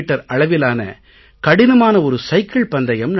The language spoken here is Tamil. அளவிலான கடினமான ஒரு சைக்கிள் பந்தயம் நடக்கும்